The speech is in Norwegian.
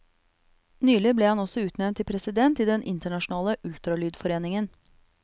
Nylig ble han også utnevnt til president i den internasjonale ultralydforeningen.